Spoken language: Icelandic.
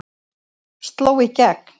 Sló í gegn